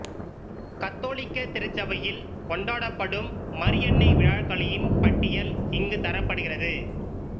கத்தோலிக்க திருச்சபையில் கொண்டாடப்படும் மரியன்னை விழாக்களின் பட்டியல் இங்கு தரப்படுகிறது